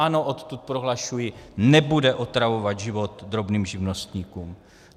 Ano, odtud prohlašuji, nebude otravovat život drobným živnostníkům.